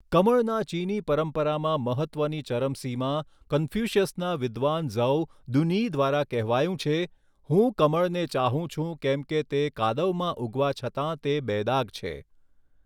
કમળના ચીની પરંપરામાં મહત્ત્વની ચરમસીમા કંફ્યુસીયસના વિધ્વાન ઝૌ દુન્યી દ્વારા કહેવાયું છે હું કમળને ચાહું છું કેમ કે તે કાદવમાં ઉગવા છતાં તે બેદાગ છે